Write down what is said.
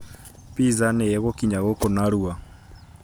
Pizza nĩ ĩgookinya gũkũ narua?